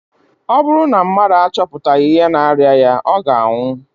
Ọ bụrụ na mmadụ achọpụtaghị ihe na-arịa ya, ọ ga-anwụ